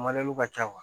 ka ca